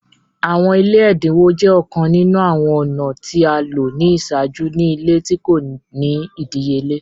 Awọn ile ẹdinwo jẹ ọkan ninu awọn ọna ti a lo ni iṣaaju ni ile ti ko ni idiyele.